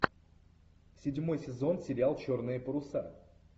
седьмой сезон сериал черные паруса